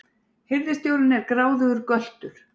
Hirðstjórinn er gráðugur göltur!